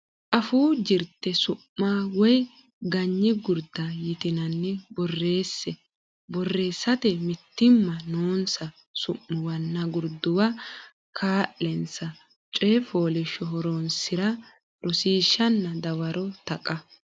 Afuu Jirte su ma woy ganyi gurda yitinanni borreesse Borreessate mitiimma noonsa Su muwanna Gurduwa kaa linsa Coy foliishsho Horonsi ra Rosiishshanna Dawaro Taqa.